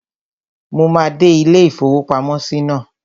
Mo máa dé ilé-ìfowópamọ́sí náà